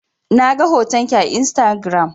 Na ga hoton ki a Instagiram.